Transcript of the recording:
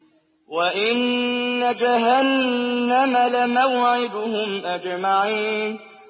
وَإِنَّ جَهَنَّمَ لَمَوْعِدُهُمْ أَجْمَعِينَ